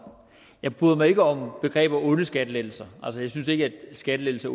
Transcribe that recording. jeg bryder mig ikke om begrebet onde skattelettelser jeg synes ikke at skattelettelser